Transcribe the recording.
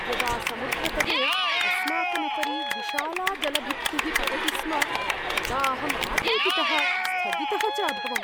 यदा समुद्रतटे अस्माकम् उपरि विशाला जलभित्तिः पतति स्म तदा अहम् आतङ्कितः, स्थगितः च अभवम्।